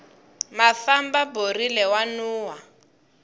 mafamba borile wa nuhwa